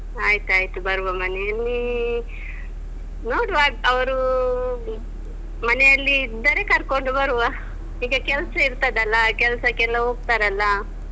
ಆಯ್ತಾಯ್ತು ಬರುವ. ಮನೆಯಲ್ಲೀ ನೋಡುವ ಅವ್ರೂ ಮನೆಯಲ್ಲಿ ಇದ್ದರೆ ಕರ್ಕೊಂಡು ಬರುವ. ಈಗ ಕೆಲಸ ಇರ್ತದಲ್ಲ. ಕೆಲ್ಸಕ್ಕೆಲ್ಲ ಹೋಗ್ತಾರಲ್ಲ